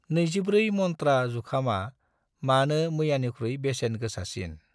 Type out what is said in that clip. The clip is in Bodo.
24 मन्त्रा जुखामआ मानो मैयानिख्रुइ बेसेन गोसासिन?